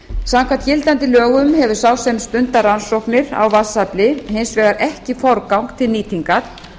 samkvæmt gildandi lögum hefur sá sem stundar rannsóknir á vatnsafli hins vegar ekki forgang til nýtingar